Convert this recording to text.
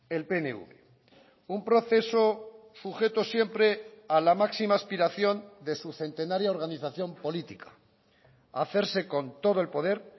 el pnv un proceso sujeto siempre a la máxima aspiración de su centenaria organización política hacerse con todo el poder